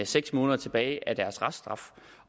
seks måneder tilbage af deres reststraf